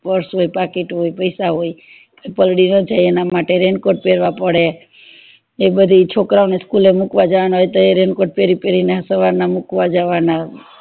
purse હોય પાકીટ હોઈ પય્સા હોય પાલડી ન જાય એના માટે raincoat પેરવા પડે એ બધું છોકરાઓ ને school એ મુકવા જવાના હોય તો raincoat પેરી પેરી ને સવાર માં મુકવા જવાના